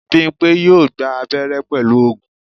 Bímpé yóò gba abẹ́rẹ́ pẹ̀lú oògùn